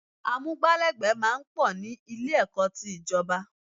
Amúgbálẹ́gbẹ̀ẹ́ máa ń pọ̀ ní Ilé-ẹ̀kọ́ ti ìjọ̀ba